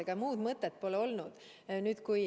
Ega muud mõtet pole olnud.